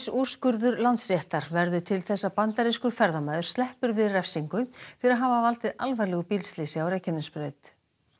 úrskurður Landsréttar verður til þess að bandarískur ferðamaður sleppur við refsingu fyrir að hafa valdið alvarlegu bílslysi á Reykjanesbraut